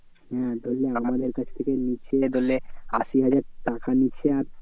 হ্যাঁ ধরেনে আমাদের কাছ থেকে নিচ্ছে ধরেনে আশি হাজার টাকা নিচ্ছে আর